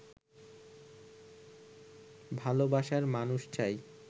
ভালবাসার মানুষ চাই